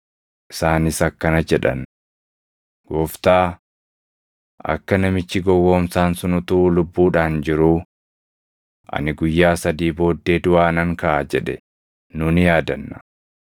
Isaanis akkana jedhan; “Gooftaa! Akka namichi gowwoomsaan sun utuu lubbuudhaan jiruu, ‘Ani guyyaa sadii booddee duʼaa nan kaʼa’ jedhe nu ni yaadanna.